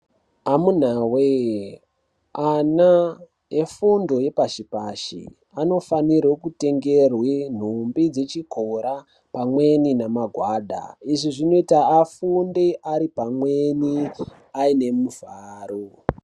Amunawee, ana efundo yepashi-pashi , anofanirwe kutengerwe nhumbi dzechikora ,pamweni namagwada. Izvi zvinoita afunde ari pamweni ,aine mufaro.